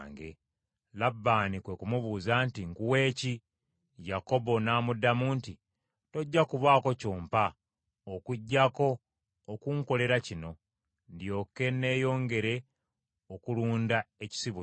Labbaani kwe ku mubuuza nti, “Nkuwe ki?” Yakobo n’amuddamu nti, “Tojja kubaako ky’ompa, okuggyako okunkolera kino, ndyoke nneeyongere okulunda ekisibo kyo: